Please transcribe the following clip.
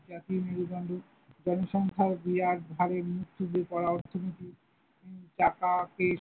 জাতীর মেরুদণ্ড, জনসংখ্যার বিরাট ভারে মুখ থুবড়ে পরা অর্থনীতি, টাকা কে।